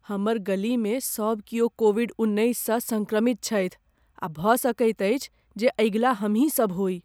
हमर गलीमे सब कियो कोविड उन्नैससँ सङ्क्रमित छथि आ भऽ सकैत अछि जे अगिला हमही सब होइ।